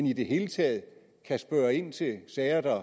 i det hele taget kan spørge ind til sager der